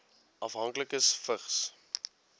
afhanklikes vigs